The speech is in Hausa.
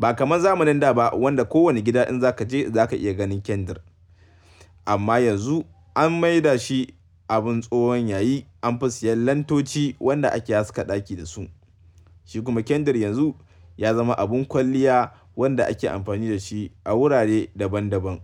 Ba kamar zamanin da ba wanda ko wani gida in za ka je za ka iya ganin kandir. Amma yanzu an maida shi abin tsohon yayi an fi siyan lantoci wanda ake haska ɗaki da su. Shi kuma kandir yanzu ya zama abin kwalliya wanda ake amfani da shi a wurare daban daban.